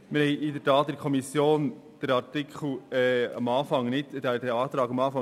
In der Tat hatten wir diesen Antrag anfangs nicht in der Kommission.